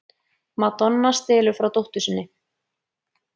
Madonna stelur frá dóttur sinni